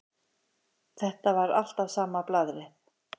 Þetta var alltaf sama blaðrið.